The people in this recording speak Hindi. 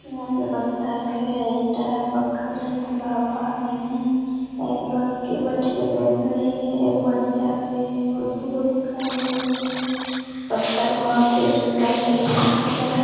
यहाँ पे बत्तख है ईटा है पत्थर है तालाब पानी है एक लड़की बैठ के देख रही है एगो बच्चा भी है दुगो तीनगो चारगो लड़की है बत्तख बहुत ही सुन्दर से बैठा हुआ है ।